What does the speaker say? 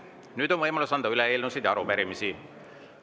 Nüüd on võimalus anda üle eelnõusid ja arupärimisi.